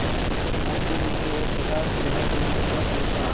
मृति में एक प्रकाशगृह बनाऊंगा चंपा